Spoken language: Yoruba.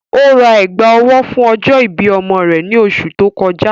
Ó rá ègbá-ọ̀wọ̀ fún ọ̀jọ́-ìbí ọ̀mọ rẹ̀ ní òṣù tó kọjà